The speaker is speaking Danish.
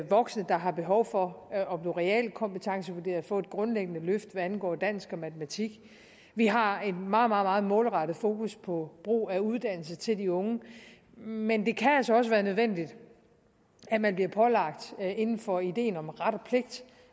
voksne der har behov for at blive realkompetencevurderet og få et grundlæggende løft hvad angår dansk og matematik vi har et meget meget målrettet fokus på brug af uddannelse til de unge men det kan altså også være nødvendigt at man bliver pålagt inden for ideen om ret og pligt